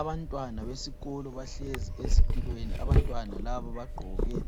Abantwana besikolo bahlezi ezitulweni. Abantwana labo bagqoke